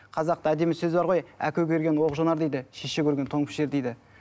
қазақта әдемі сөз бар ғой әке көрген оқ жонар дейді шеше көрген тон пішер дейді